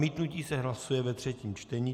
Zamítnutí se hlasuje ve třetím čtení.